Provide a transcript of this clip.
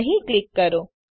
અહીં ક્લિક કરો